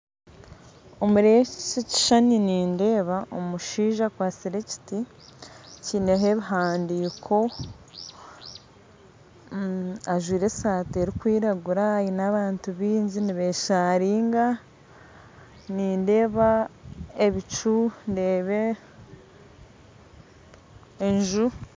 Omu kishushani eki nindeeba omushaija akwitse ekiti kiriho ebihandiiko ajwire esaati erikwiragura aine abantu baingi nibeesharinga, nindeeba ebicu hamwe n'enju